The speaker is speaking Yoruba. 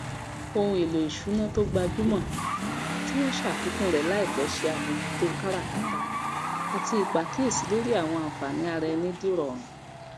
ohunèlò ìsùná to gbajúmọ tí wọn ṣàfikún rẹ láìpẹ se àmójútó káràkátà àti ìpàkíyèsí lórí àwọn ànfààní araẹni dìrọrùn